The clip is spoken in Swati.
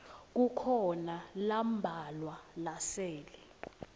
kukhona lambalwa lasele